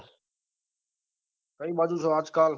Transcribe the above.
કઈ બાજુ છો આજ કાલ